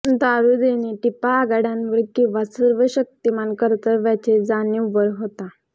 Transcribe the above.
दारू देणे टिपा आघाड्यांवर किंवा सर्व शक्तिमान कर्तव्याची जाणीव वर होता